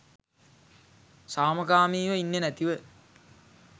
සාමකාමීව ඉන්නෙ නැතිව